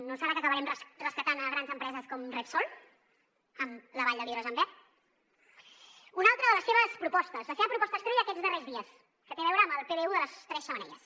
no deu ser que acabarem rescatant grans empreses com repsol amb la vall de l’hidrogen verd una altra de les seves propostes la seva proposta estrella aquests darrers dies que té a veure amb el pdu de les tres xemeneies